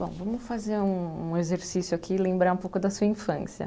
Bom, vamos fazer um um exercício aqui, lembrar um pouco da sua infância.